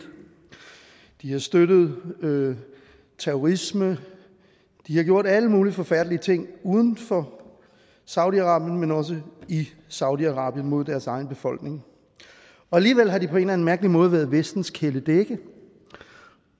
de har støttet terrorisme de har gjort alle mulige forfærdelige ting uden for saudi arabien men også i saudi arabien mod deres egen befolkning og alligevel har de på en eller anden mærkelig måde været vestens kæledægge